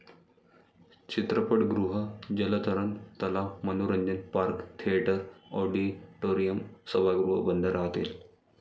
चित्रपटगृह, जलतरण तलाव, मनोरंजन पार्क, थिएटर, ऑडिटोरीयम, सभागृह बंद राहतील.